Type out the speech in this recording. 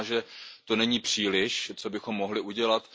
Možná, že toho není příliš, co bychom mohli udělat.